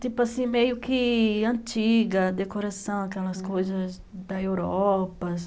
Tipo assim, meio que antiga, decoração, aquelas coisas da Europa.